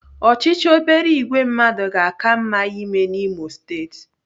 Ọchịchị obere ìgwè mmadụ ga-aka mma ime n'Imo steeti.